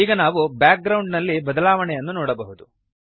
ಈಗ ನಾವು background ನಲ್ಲಿ ಬದಲಾವಣೆಯನ್ನು ನೋಡಬಹುದು